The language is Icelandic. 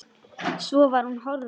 Svo var hún horfin.